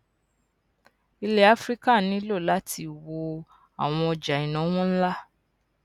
ilẹ áfíríkà nílò láti wo àwọn ọjà ìnáwó nla